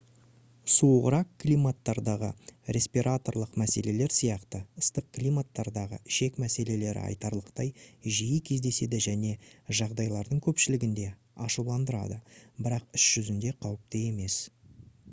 суығырақ климаттардағы респираторлық мәселелер сияқты ыстық климаттардағы ішек мәселелері айтарлықтай жиі кездеседі және жағдайлардың көпшілігінде ашуландырады бірақ іс жүзінде қауіпті емес